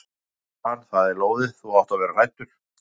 Já svarar hann, það er lóðið, þú átt að vera hræddur.